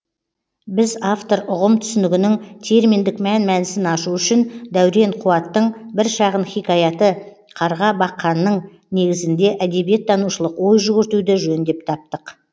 біз автор ұғым түсінігінің терминдік мән мәнісін ашу үшін дәурен қуаттың бір шағын хикаяты қарға баққанның негізінде әдебиеттанушылық ой жүгіртуді жөн деп таптық